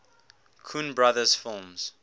coen brothers films